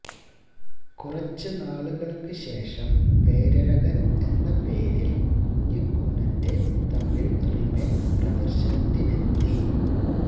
കുറച്ച് നാളുകള്ക്ക് ശേഷം പേരഴകന് എന്ന പേരില് കുഞ്ഞിക്കൂനന്റെ തമിഴ് റീമേക്ക് പ്രദര്ശനത്തിനെത്തി